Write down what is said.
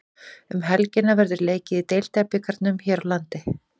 Um helgina verður leikið í Deildabikarnum hér landi.